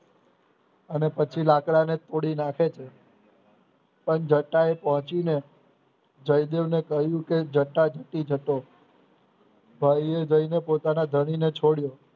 અને પછી લાકડાને તોડી નાખે છે પણ જતાયે પહોંચીને જયદેવને કહ્યું કે જટા જટો ભાઈએ જઈને પોતાના ધણીને છોડ્યો